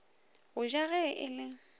go ja ge e le